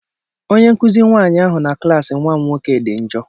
Onye nkuzi nwanyị ahụ na klas nwa m nwoke dị njọ.